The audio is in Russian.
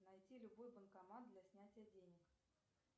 найти любой банкомат для снятия денег